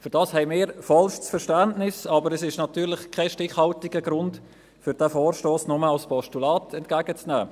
Dafür haben wir vollstes Verständnis, aber es ist natürlich kein stichhaltiger Grund, um diesen Vorstoss nur als Postulat entgegenzunehmen.